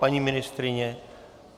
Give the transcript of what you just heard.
Paní ministryně?